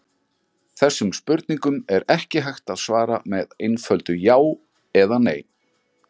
Þessum spurningum er ekki hægt að svara með einföldu já eða nei.